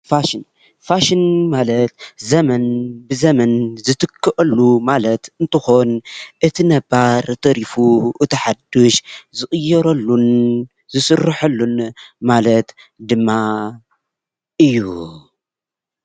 ፋሽን፡- ፋሽን ማለት ዘመን ብዘመን ዝትከአሉ ማለት እንትኾን እቲ ነባር ተሪፉ እቲ ሓዱሽ ዝቕየረሉን ዝስረሐሉን ማለት ድማ እዩ፡፡